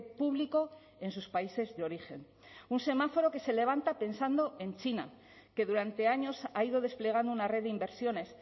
público en sus países de origen un semáforo que se levanta pensando en china que durante años ha ido desplegando una red de inversiones